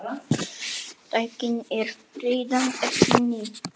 Tæknin er reyndar ekki ný.